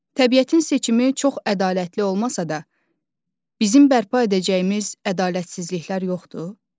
Təbiətin seçimi çox ədalətli olmasa da, bizim bərpa edəcəyimiz ədalətsizliklər yoxdur?